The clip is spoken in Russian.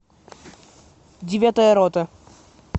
девятая рота